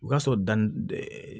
O ka sɔrɔ da